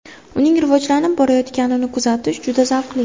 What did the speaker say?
Uning rivojlanib borayotganini kuzatish juda zavqli.